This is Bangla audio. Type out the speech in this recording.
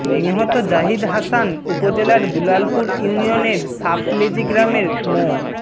নিহত জাহিদ হাসান উপজেলার দুলালপুর ইউনিয়নের সাপলেজি গ্রামের মো